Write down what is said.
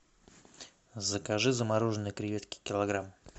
закажи замороженные креветки килограмм